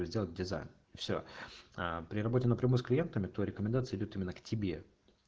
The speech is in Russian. сделать дизайн все ээ при работе на прямую с клиентами то рекомендации идут именно к тебе